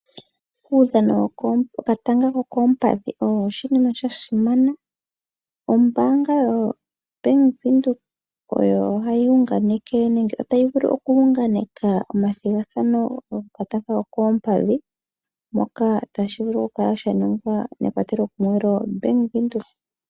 Uudhano wokatanga kokoompadhi owo oshinima sha simana. Ombaanga yoBank Windhoek oyo hayi unganeke nenge otayi vulu oku unganeka omathigathano gokatanga kokoompadhi, moka tashi vulu oku kala sha ningwa mekwatelo kumwe lyoBank Windhoek.